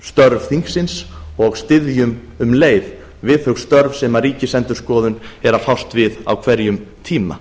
störf þingsins og styðjum um leið við þau störf sem ríkisendurskoðun er að fást við á hverjum tíma